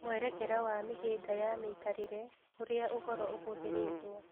Mwerekera wa mĩhĩnga ya mĩikarĩre, ũrĩa ũhoro ũhũthĩrĩtwo